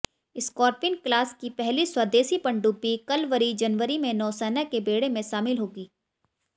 Scorpene class की पहली स्वदेशी पनडुब्बी कलवरी जनवरी में नौसेना के बेड़े में शामिल होगी